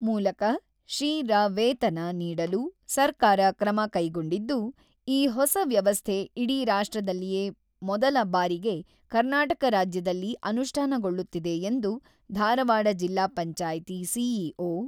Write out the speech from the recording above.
ಮೂಲಕ ಶಿ ರ ವೇತನ ನೀಡಲು ಸರ್ಕಾರ ಕ್ರಮ ಕೈಗೊಂಡಿದ್ದು, ಈ ಹೊಸ ವ್ಯವಸ್ಥೆ ಇಡೀ ರಾಷ್ಟ್ರದಲ್ಲಿಯೇ ಮೊದಲ ಬಾರಿಗೆ ಕರ್ನಾಟಕ ರಾಜ್ಯದಲ್ಲಿ ಅನುಷ್ಠಾನಗೊಳ್ಳುತ್ತಿದೆ ಎಂದು ಧಾರವಾಡ ಜಿಲ್ಲಾ ಪಂಚಾಯ್ತಿ ಸಿ.ಇ.ಓ.